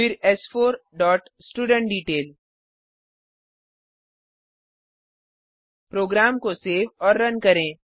फिर एस4 dot student detail program को सेव और रन करें